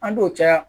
An t'o caya